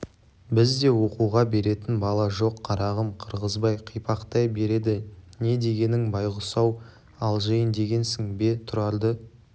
бізде оқуға беретін бала жоқ қарағым қырғызбай қипақтай береді не дегенің байғұс-ау алжиын дегенсің бе тұрарды